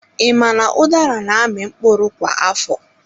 I ma na udara na-amị mkpụrụ kwa afọ?